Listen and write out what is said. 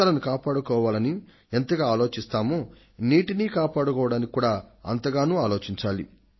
ప్రాణాలను కాపాడడానికి మనం ఎంతగా ఆలోచిస్తామో అంతే శ్రద్ధగా నీటిని కాపాడుకోవడానికి కూడా ఆలోచించాలి